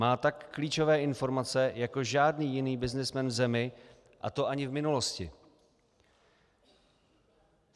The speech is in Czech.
Má tak klíčové informace jako žádný jiný byznysmen v zemi, a to ani v minulosti.